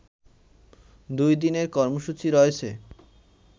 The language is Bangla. দুই দিনের কর্মসূচি রয়েছে